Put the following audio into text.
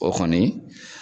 O kɔni.